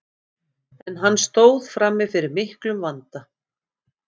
en hann stóð frammi fyrir miklum vanda